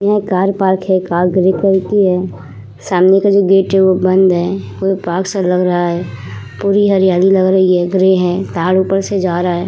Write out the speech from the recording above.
यह car park है। Car grey colour की है। सामने का जो गेट है वो बंद है। यह पार्क सा लग रहा है। पूरी हरियाली लग रही है ग्रे है। तार ऊपर से जा रहा है।